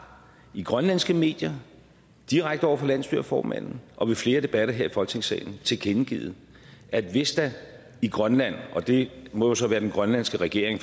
i grønlandske medier direkte over for landsstyreformanden og i flere debatter her i folketingssalen tilkendegivet at hvis der i grønland og det må så være den grønlandske regering